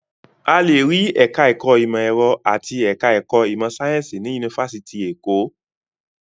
A lè rí ẹ̀ka-ẹ̀kọ́ ìmọ̀-ẹ̀rọ àti ẹ̀ka-ẹ̀kọ́ ìmọ̀-sáyẹ́ńsì ní yunifásitì Èkó.